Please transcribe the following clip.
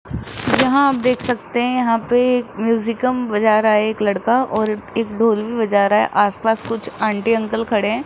यहाँ आप देख सकते हैं यहां पे एक म्यूजिकम बजा रहा है एक लड़का और एक ढोल भी बजा रहा है आस पास कुछ आंटी अंकल खड़े --